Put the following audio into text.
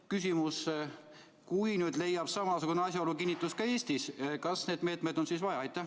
Küsimus: kui nüüd leiab samasugune asjaolu kinnitust ka Eestis, kas neid meetmeid on siis vaja?